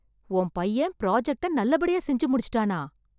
உன் பையன் ப்ராஜெக்ட்ட நல்லபடியா செஞ்சு முடிச்சுட்டானா...